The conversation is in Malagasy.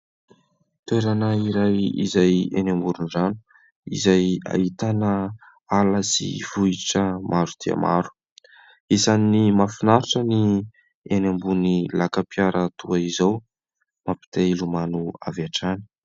Toerana iray izay eny amoron-drano, izay ahitana ala sy vohitra maro dia maro; isan'ny mahafinaritra ny eny ambony laka-piara toa izao; mampiteha hilomano avy hatrany.